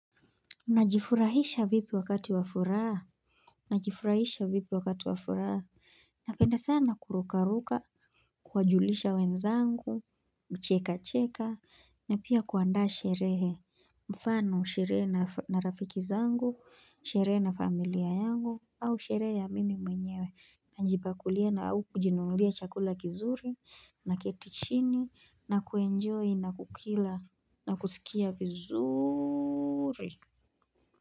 Najifurahisha vipi wakati wa furaha Najifurahisha vipi wakati wafuraa Napenda sana kurukaruka kuwajulisha wenzangu kucheka cheka na pia kuanda sherehe mfano sherehe na rafiki zangu Sherehe na familia yangu au sherehe ya mimi mwenyewe Najipakulia na au kujinunulia chakula kizuri na keti chini na kuenjoy na kukila na kusikia vizuuri.